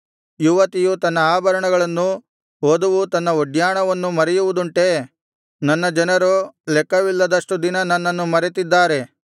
ಯುವತಿಯು ತನ್ನ ಆಭರಣಗಳನ್ನು ವಧುವು ತನ್ನ ಒಡ್ಯಾಣವನ್ನು ಮರೆಯುವುದುಂಟೇ ನನ್ನ ಜನರೋ ಲೆಕ್ಕವಿಲ್ಲದಷ್ಟು ದಿನ ನನ್ನನ್ನು ಮರೆತಿದ್ದಾರೆ